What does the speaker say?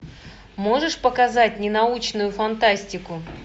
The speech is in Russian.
можешь показать ненаучную фантастику